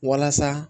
Walasa